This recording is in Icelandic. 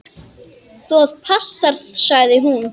Það passar, sagði hún.